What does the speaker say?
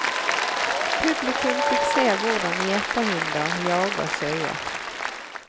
Publikum fikk se hvordan gjeterhunder jager sauer.